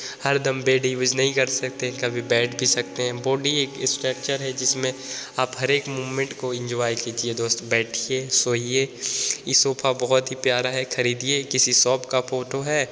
हरदम bed use नहीं कर सकते हैं कभी बैठ भी सकते हैं। बॉडी एक स्टक्चर है जिसमें आप हर एक मूवमेंट को इंजॉय कीजिए दोस्त बैठिए सोइए इ सोफा बहोत ही प्यारा है खरीदिए किसी शाप का फोटो है।